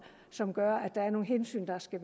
som gør at der er nogle hensyn der skal